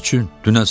Niyə üçün?